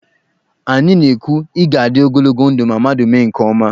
Anyị na- ekwu, 'ị ga-adị ogologo ndụ' ma mmadụ mee nke ọma.